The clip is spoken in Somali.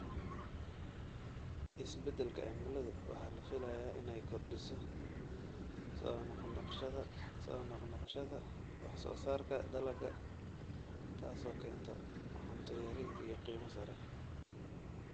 Isbeddelka cimiladu waxa la filayaa inay kordhiso soo noq-noqoshada wax-soo-saarka dalagga, taasoo keenta cunto yari iyo qiimo sare.